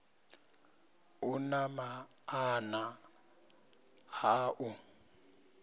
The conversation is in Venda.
u na maanḓa a u